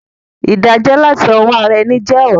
Ìdájó làti owó ara eni je òràn